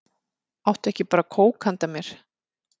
Áttu ekki bara kók handa mér?